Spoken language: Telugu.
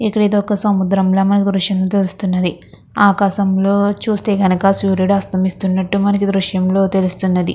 ఇక్కడ ఒక సముద్రంలా దృశ్యంలో తెలుస్తున్నది. ఆకాశంలో చుస్తే గనుక సూర్యుడు అస్తమిస్తున్నట్టుగా మనకి దృశ్యంలో తెలుస్తున్నది.